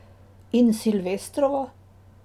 In Silvestrovo?